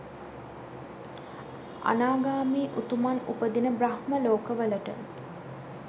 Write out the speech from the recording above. අනාගාමී උතුමන් උපදින බ්‍රහ්ම ලෝකවලට